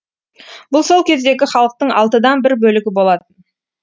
бұл сол кездегі халықтың алтыдан бір бөлігі болатын